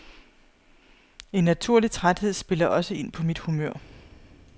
En naturlig træthed spiller også ind på mit humør.